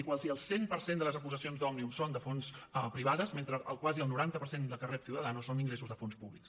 i quasi el cent per cent de les aportacions d’òmnium són de fonts privades mentre quasi el noranta per cent del que rep ciudadanos són ingressos de fons públics